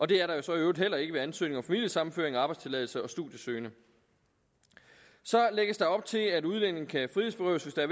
det er der så i øvrigt heller ikke ved ansøgning om familiesammenføring og arbejdstilladelse og for studiesøgende så lægges der op til at udlændinge kan frihedsberøves hvis der